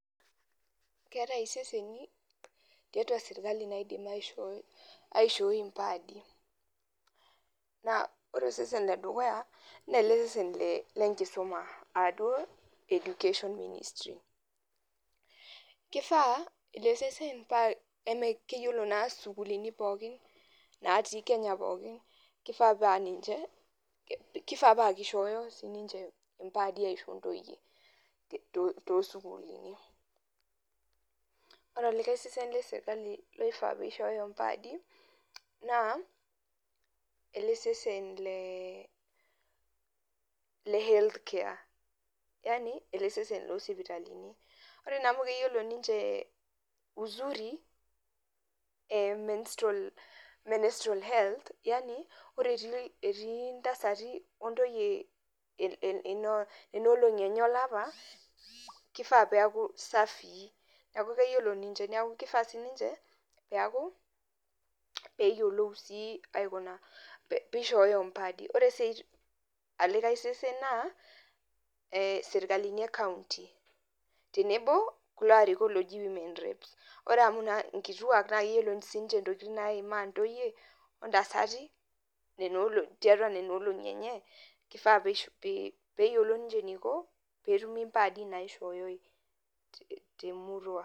Keetai iseseni tiatua serkali oodim aaishooi impaadi naa ore osesen ledukuya naa ele sesen lenkisuma aaduo education ministry keifaa ele naa eme keyiolo naa isukuulini pookin naatii Kenya pookin keifaa paa ninche keifaa paa keishooyo impaadi aaisho intoyie toosukuulini ore olikae sesen lesirkali looifaa peishooyo impaadi naa ele sesen le health care yaani ele sese loosipitalini ore naa amu keyiolo ninche uzuri e menstrual health yaani ore etii intasati ontoyie nena olong'i enye olapa keifaa peeku safii amu keyiolo ninche neeku keyiolo peeaku peeyiolou sii aikuna peishooyo impaadi ore olikae sesen naa ee serkalini e county tenebo kulo aarikok ooji women reps ore amu inkituak naa keyiolo intokitin naaimaa intoyie ontasati tiatua nena olong'i enye keifaa peyiolou ninche eneiko peeitumi impaadi naaishoyoi temurua.